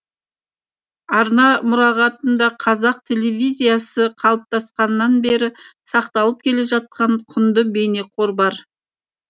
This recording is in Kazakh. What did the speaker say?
арна мұрағатында қазақ телевизиясы қалыптасқаннан бері сақталып келе жатқан құнды бейнеқор бар